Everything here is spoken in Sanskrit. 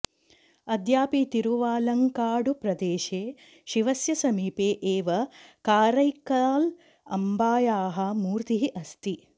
अद्यापि तिरुवालङ्काडुप्रदेशे शिवस्य समीपे एव कारैक्काल् अम्बायाः मूर्तिः अस्ति